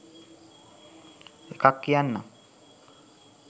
එකක් කියන්නම්